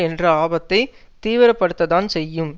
என்ற ஆபத்தைத் தீவிரப்படுத்தத்தான் செய்யும்